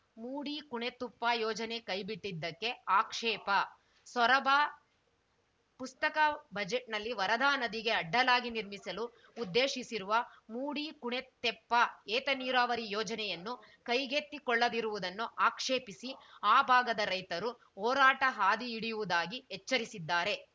ಮೂಡಿ ಕುಣೆತುಪ್ಪ ಯೋಜನೆ ಕೈಬಿಟ್ಟಿದ್ದಕ್ಕೆ ಆಕ್ಷೇಪ ಸೊರಬ ಪ್ರಸಕ್ತ ಬಜೆಟ್‌ನಲ್ಲಿ ವರದಾ ನದಿಗೆ ಅಡ್ಡಲಾಗಿ ನಿರ್ಮಿಸಲು ಉದ್ದೇಶಿಸಿರುವ ಮೂಡಿ ಕುಣೆತೆಪ್ಪ ಏತ ನೀರಾವರಿ ಯೋಜನೆಯನ್ನು ಕೈಗೆತ್ತಿಕೊಳ್ಳದಿರುವುದನ್ನು ಆಕ್ಷೇಪಿಸಿ ಆ ಭಾಗದ ರೈತರು ಹೋರಾಟ ಹಾದಿ ಹಿಡಿಯುವುದಾಗಿ ಎಚ್ಚರಿಸಿದ್ದಾರೆ